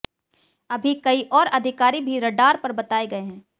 अभी कई और अधिकारी भी रडार पर बताए गए है